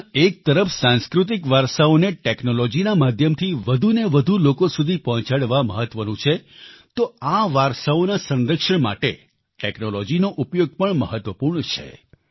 જ્યાં એક તરફ સાંસ્કૃતિક વારસાઓને ટેક્નોલોજીના માધ્યમથી વધુ ને વધુ લોકો સુધી પહોંચાડવા મહત્વનું છે તો આ વારસાઓના સંરક્ષણ માટે ટેક્નોલોજીનો ઉપયોગ પણ મહત્વપૂર્ણ છે